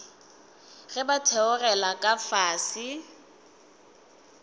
ge ba theogela ka fase